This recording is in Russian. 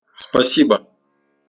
спасибо